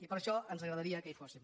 i per això ens agradaria que hi fossin